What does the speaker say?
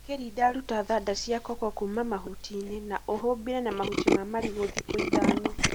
ũkirinda ruta thanda cia koko kũma mahutinĩ na ũhumbĩre na mahuti ma marigũ thikũ ithano.